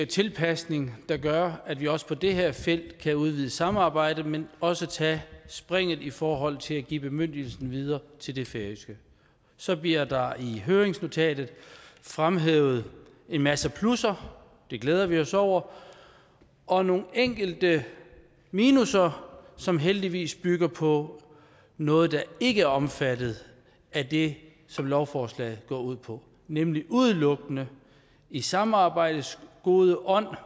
tilpasning der gør at vi også på det her felt kan udvide samarbejdet men også tage springet i forhold til at give bemyndigelsen videre til det færøske så bliver der i høringsnotatet fremhævet en masse plusser det glæder vi os over og nogle enkelte minusser som heldigvis bygger på noget der ikke er omfattet af det som lovforslaget går ud på nemlig udelukkende i samarbejdets gode ånd